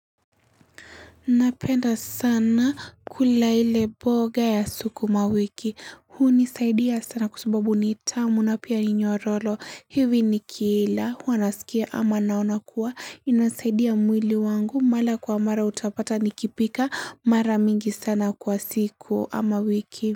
Napenda sana kula ile mboga ya sukumawiki. Hunisaidia sana kwa subabu nitamu na pia ninyorolo. Hivi ni kila. Huwanasikia ama naona kuwa. Inasaidia mwili wangu. Mara kwa mara utapata nikipika. Mara mingi sana kwa siku ama wiki.